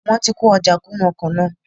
Wọ́n ti kó ojà kún nú ọkọ̀ náà